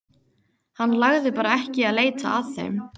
Hann lagði bara ekki í að leita að þeim.